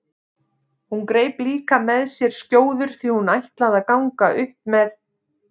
Hún greip líka með sér skjóður því hún ætlaði að ganga upp með